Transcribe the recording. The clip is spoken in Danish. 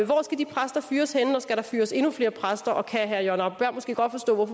hvor skal de præster fyres henne og skal der fyres endnu flere præster og kan herre jørgen arbo bæhr måske godt forstå